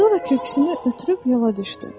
Sonra köksünü ötürüb yola düşdü.